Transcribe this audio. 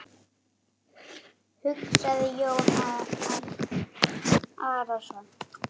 hugsaði Jón Arason.